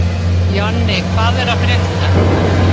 Jonni, hvað er að frétta?